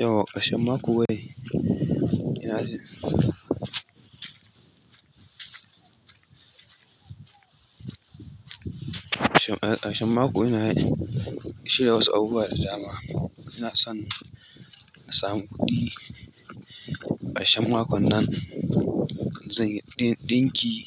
Yau ƙarshen mako ne. Ina shi. Ƙar-ƙar-ƙarshen mako ina shiya wasu abubuwa da dama. Inason in samu kuɗi ƙarshe makon nan. Zan yi ɗin-ɗinki,